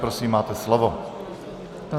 Prosím, máte slovo.